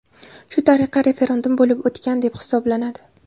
Shu tariqa, referendum bo‘lib o‘tgan deb hisoblanadi.